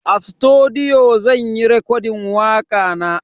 A sutudiyo zan yi rekodin wakana.